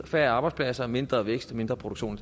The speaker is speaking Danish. færre arbejdspladser mindre vækst og mindre produktion